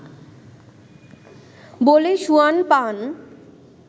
বলে সুয়ান পান